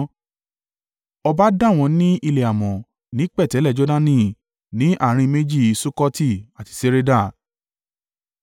Ọba dà wọ́n ní ilẹ̀ amọ̀ ní pẹ̀tẹ́lẹ̀ Jordani ní àárín méjì Sukkoti àti Sereda.